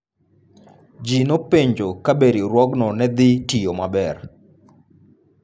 Ji nopenjo kabe riwruogno ne dhi tiyo maber.